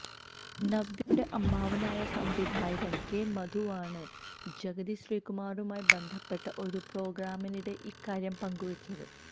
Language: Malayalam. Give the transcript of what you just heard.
നവ്യയുടെ അമ്മാവനായ സംവിധായകന് കെ മധുവാണ് ജഗതി ശ്രീകുമാറുമായി ബന്ധപ്പെട്ട ഒരു പ്രോഗ്രാമിനിടെ ഈ കാര്യം പങ്കുവെച്ചത്